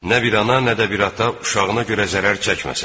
Nə bir ana, nə də bir ata uşağına görə zərər çəkməsin.